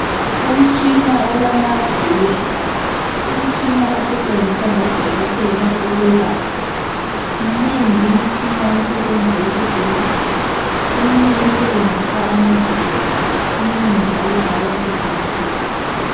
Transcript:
Umtshina olama vili. Umtshina osetshenziswa ngodokotela ukwelapha. Minengi imitshina esebenza esibhedlela, eminye esebenzisa amagetsi eminye njalo ayiwasebenzisi.